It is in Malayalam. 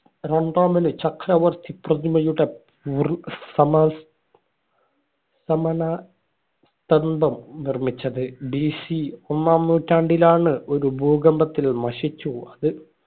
രണ്ടാമന് ചക്രവർത്തിപ്രതിമയുടെ സമസ് സ്മരണാ സന്തം നിർമ്മിച്ചത് BC ഒന്നാം നൂറ്റാണ്ടിലാണ് ഒരു ഭൂകമ്പത്തില് ഇത് നശിച്ചു പോയത്.